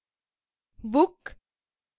book